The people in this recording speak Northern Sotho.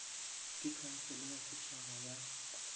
ke khansele ya setšhaba ya